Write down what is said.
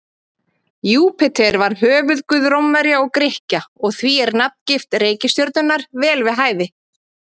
Júpíter var höfuðguð Rómverja og Grikkja og því er nafngift reikistjörnunnar vel við hæfi.